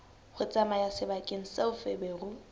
ho tsamaya sebakeng seo feberu